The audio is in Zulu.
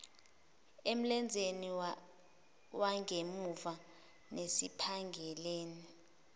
emlenzeni wangemuva nasesiphangeni